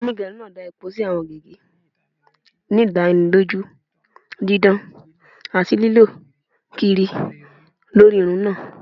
Onigerun naa da epo si awọn gige, ni idaniloju didan ati lilọ kiri lori irun naa.